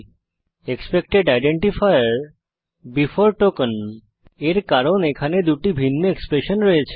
expected identifier before token এর কারণ এখানে দুটি ভিন্ন এক্সপ্রেশন রয়েছে